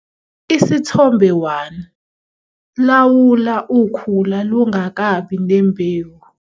Isithombe 1- Lawula ukhula lungakabi nembewu.